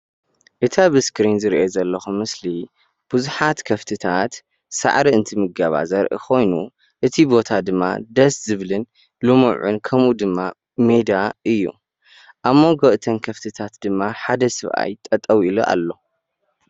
እቲ ኣብ እስሪን ዝሪኦ ዘለኩ ምስሊ ብዙሓት ከፍትታት ሳዕሪ እንትምገባ ዘርኢ ኮይኑ እቲ ቦታ ድማ ደስ ዝብልን ልሙዑን ከምኡ ድማ ሜዳ እዩ። ኣብ ሞንጎ እተን ከፍቲታት ድማ ሓደ ሰብ ኣይ ጠጠዉ ኢሉ ኣሎ ።